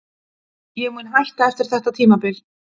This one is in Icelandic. Ég mun hætta eftir þetta tímabil.